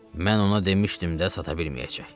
Mən ona demişdim də sata bilməyəcək.